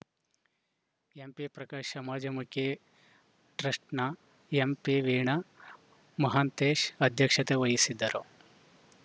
ಎಂಪಿಪ್ರಕಾಶ್‌ ಸಮಾಜಮುಖಿ ಟ್ರಸ್ಟನ ಎಂಪಿವೀಣಾ ಮಹಂತೇಶ ಅದ್ಯಕ್ಷತೆ ವಹಿಸಿದ್ದರು